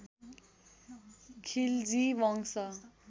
खिलजी वंश